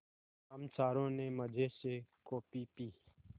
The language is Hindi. हम चारों ने मज़े से कॉफ़ी पी